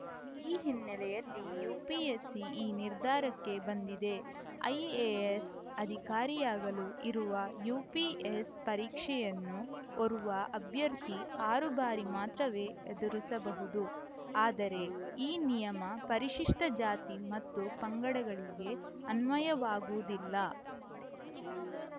ಈ ಹಿನ್ನೆಲೆಯಲ್ಲಿ ಯುಪಿಎಸ್‌ಸಿ ಈ ನಿರ್ಧಾರಕ್ಕೆ ಬಂದಿದೆ ಐಎಎಸ್‌ ಅಧಿಕಾರಿಯಾಗಲು ಇರುವ ಯುಪಿಎಸ್‌ ಪರೀಕ್ಷೆಯನ್ನು ಓರ್ವ ಅಭ್ಯರ್ಥಿ ಆರು ಬಾರಿ ಮಾತ್ರವೇ ಎದುರಿಸಬಹುದು ಆದರೆ ಈ ನಿಯಮ ಪರಿಶಿಷ್ಟಜಾತಿ ಮತ್ತು ಪಂಗಡಗಳಿಗೆ ಅನ್ವಯವಾಗುವುದಿಲ್ಲ